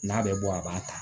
N'a bɛ bɔ a b'a ta